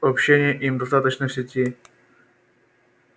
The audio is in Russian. общения им достаточно в сети